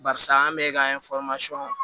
Barisa an bɛ ka